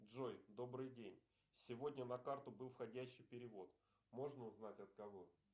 джой добрый день сегодня на карту был входящий перевод можно узнать от кого